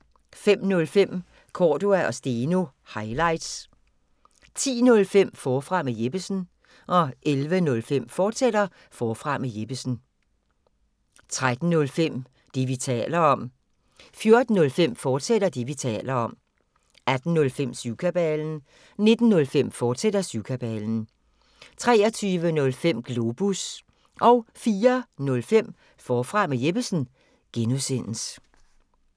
05:05: Cordua & Steno – highlights 10:05: Forfra med Jeppesen 11:05: Forfra med Jeppesen, fortsat 13:05: Det, vi taler om 14:05: Det, vi taler om, fortsat 18:05: Syvkabalen 19:05: Syvkabalen, fortsat 23:05: Globus 04:05: Forfra med Jeppesen (G)